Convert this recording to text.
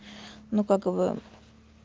ну как вы